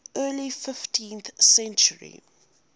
early fifteenth century